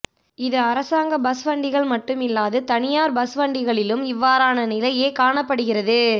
இது அரசாங்க பஸ் வண்டிகள் மட்டுமில்லாது தனியார் பஸ் வண்டிகளிலும் இவ்வாறான நிலையே காணப்படுகிறது